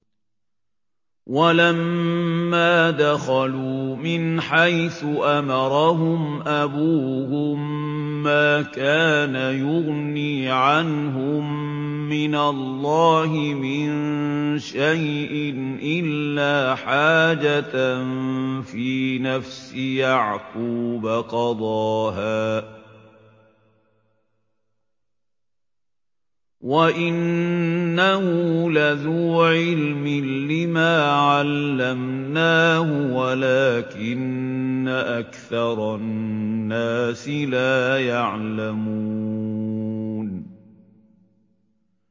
وَلَمَّا دَخَلُوا مِنْ حَيْثُ أَمَرَهُمْ أَبُوهُم مَّا كَانَ يُغْنِي عَنْهُم مِّنَ اللَّهِ مِن شَيْءٍ إِلَّا حَاجَةً فِي نَفْسِ يَعْقُوبَ قَضَاهَا ۚ وَإِنَّهُ لَذُو عِلْمٍ لِّمَا عَلَّمْنَاهُ وَلَٰكِنَّ أَكْثَرَ النَّاسِ لَا يَعْلَمُونَ